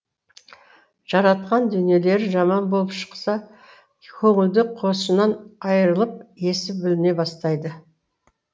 жаратқан дүниелері жаман болып шықса көңілдік қошынан айырылып есі бүліне бастайды